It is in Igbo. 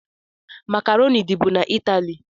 Macroni dị bụ n' italie